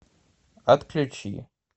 отключи